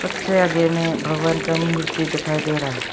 सबसे आगे में भगवान का मूर्ति दिखाई दे रहा है।